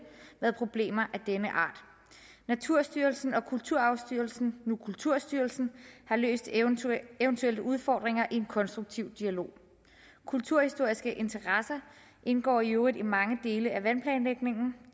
været problemer af denne art naturstyrelsen og kulturarvsstyrelsen nu kulturstyrelsen har løst eventuelle eventuelle udfordringer i en konstruktiv dialog kulturhistoriske interesser indgår i øvrigt i mange dele af vandplanlægningen